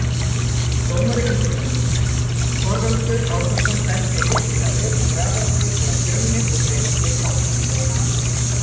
Dómari umferðarinnar: Þorvaldur Árnason Dæmdi virkilega vel í Grafarvogi þegar Fjölnir og Breiðablik áttust við.